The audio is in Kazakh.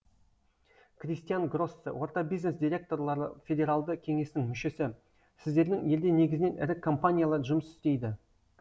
кристиан гроссе орта бизнес директорлары федералды кеңесінің мүшесі сіздердің елде негізінен ірі компаниялар жұмыс істейді